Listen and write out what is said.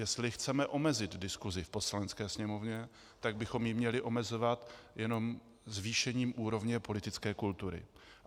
Jestli chceme omezit diskusi v Poslanecké sněmovně, tak bychom ji měli omezovat jenom zvýšením úrovně politické kultury.